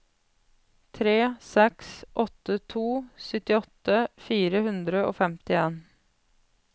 tre seks åtte to syttiåtte fire hundre og femtien